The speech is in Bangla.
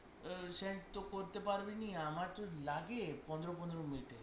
আহ send তো করতে পারব নি আমরা তো লাগে পনেরো পনেরো মিনিট